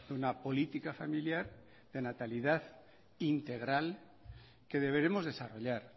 una política familiar de natalidad integral que deberemos desarrollar